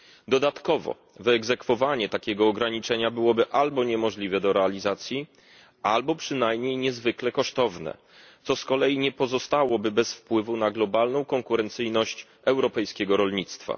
Dodatkowo wyegzekwowanie takiego ograniczenia byłoby albo niemożliwe do realizacji, albo przynajmniej niezwykle kosztowne, co z kolei nie pozostałoby bez wpływu na globalną konkurencyjność europejskiego rolnictwa.